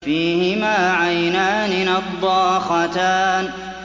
فِيهِمَا عَيْنَانِ نَضَّاخَتَانِ